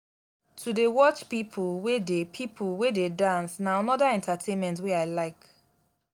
to dey watch pipo wey dey pipo wey dey dance na anoda entertainment wey i like.